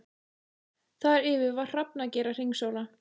Þar yfir var hrafnager að hringsóla.